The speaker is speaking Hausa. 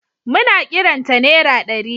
Muna kiran ta nera ɗari.